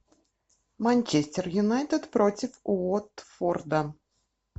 манчестер юнайтед против уотфорда